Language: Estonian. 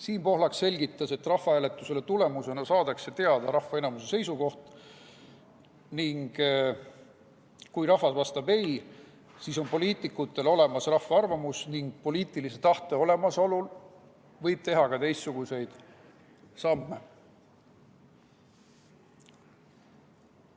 Siim Pohlak selgitas, et rahvahääletuse tulemusena saadakse teada rahva enamuse seisukoht ning kui rahvas vastab ei, siis on poliitikutel olemas rahva arvamus ning poliitilise tahte olemasolu korral võib teha ka teistsuguseid samme.